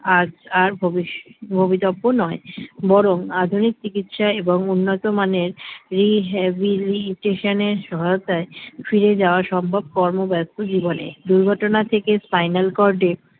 আজ আর ভবিশ্য ভবিতব্য নয় বরং আধুনিক চিকিৎসা এবং উন্নতমানের rehabilitation এর সহায়তায় ফিরে যাওয়া সম্ভব কর্মব্যস্ত জীবনে দুর্ঘটনা থেকে spinal cord এ